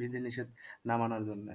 বিধিনিষেধ না মানার জন্যে।